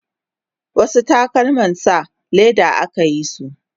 wasu takalman sa leda akayisu